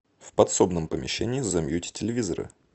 в подсобном помещении замьють телевизора